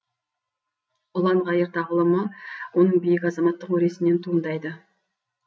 ұлан ғайыр тағылымы оның биік азаматтық өресінен туындайды